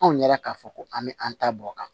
Anw ɲɛra k'a fɔ ko an bɛ an ta bɔ o kan